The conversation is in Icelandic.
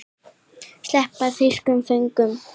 Sleppa þýskum föngum?